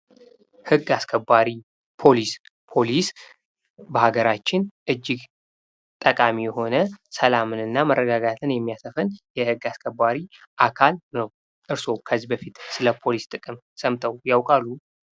ህግ አስከባሪ ፦ ፖሊስ ፦ ፖሊስ በሀገራችን እጅግ ጠቃሚ የሆነ ሰላምን እና መረጋጋትን የሚያሰፍን የህግ አስከባሪ አካል ነው ። እርስዎ ከዚህ በፊት ስለ ፖሊስ ጥቅም ሰምተው ያውቃሉ ?